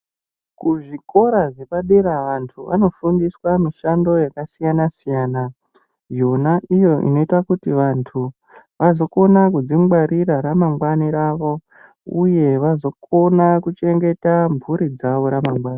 Kuzvikora zvepadera vantu anofundiswa mishando yakasiyana-siyana yona iyo inoita kuti vantu vazokona kudzingwarira ramangwani ravo uye vazokona kuchengeta mburi dzavo ramangwani.